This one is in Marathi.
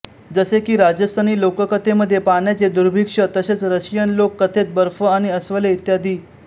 जसे की राजस्थानी लोककथे मध्ये पाण्याचे दुर्भिक्ष्य तसेच रशियन लोक कथेत बर्फ आणि अस्वले इत्यादी